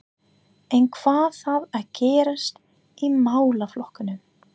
En hvað þarf að gerast í málaflokknum?